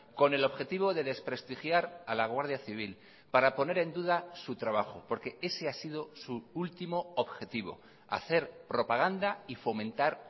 con el objetivo de desprestigiar a la guardia civil para poner en duda su trabajo porque ese ha sido su último objetivo hacer propaganda y fomentar